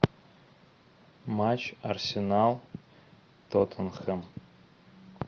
матч арсенал тоттенхэм